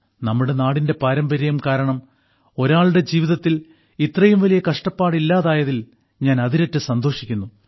നമ്മുടെ നാടിന്റെ പാരമ്പര്യം കാരണം ഒരാളുടെ ജീവിതത്തിൽ ഇത്രയും വലിയ കഷ്ടപ്പാട് ഇല്ലാതായത്തിൽ ഞാൻ അതിരറ്റ് സന്തോഷിക്കുന്നു